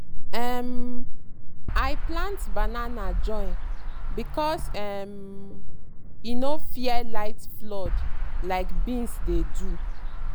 um i plant banana join because um e no fear light flood like beans dey do.